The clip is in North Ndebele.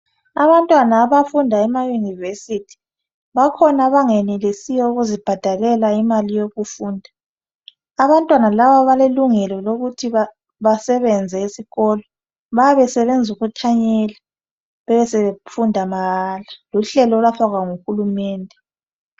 Abantwana abafunda emayunivesithi bakhona abangenelisiyo ukuzibhadalela imali yokufunda. Abantwana laba balelungelo lokuthi basebenze esikolo bayabe besebenza ukuthanyela besebe funda mahala luhlelo olwafakwa nguhulilumende.